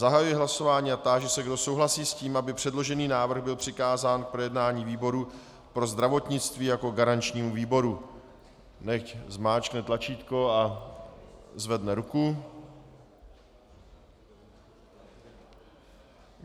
Zahajuji hlasování a táži se, kdo souhlasí s tím, aby předložený návrh byl přikázán k projednání výboru pro zdravotnictví jako garančnímu výboru, nechť zmáčkne tlačítko a zvedne ruku.